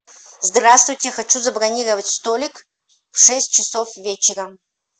здравствуйте хочу забронировать столик в шесть часов вечера